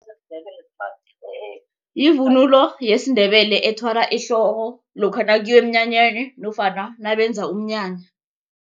Yivunulo yesiNdebele ethwalwa ehloko lokha nakuyiwa eminyanyeni nofana nabenza umnyanya.